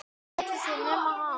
Hvernig endar þetta allt saman?